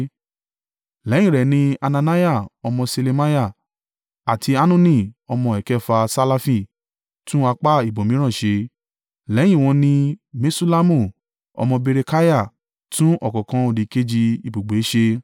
Lẹ́yìn rẹ̀ ni, Hananiah ọmọ Ṣelemiah, àti Hanuni ọmọ ẹ̀kẹfà Salafi, tún apá ibòmíràn ṣe. Lẹ́yìn wọn ni, Meṣullamu ọmọ Berekiah tún ọ̀kánkán òdìkejì ibùgbé ẹ̀ ṣe.